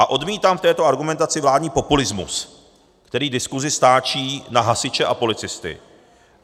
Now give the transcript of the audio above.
A odmítám v této argumentaci vládní populismus, který diskusi stáčí na hasiče a policisty.